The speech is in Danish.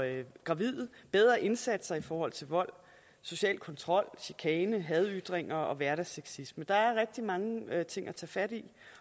gravide bedre indsatser i forhold til vold social kontrol chikane hadytringer og hverdagssexisme der er rigtig mange ting at tage fat